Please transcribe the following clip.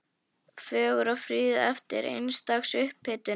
Fögur og fríð eftir eins dags upphitun.